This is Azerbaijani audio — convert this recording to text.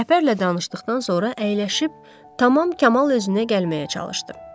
Rəhbərlə danışdıqdan sonra əyləşib tamam Kamal özünə gəlməyə çalışdı.